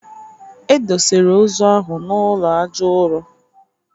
E dosere ozu ahụ n'ụlọ aja ụrọ